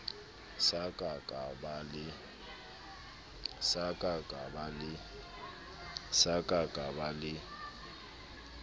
sa ka ka ba le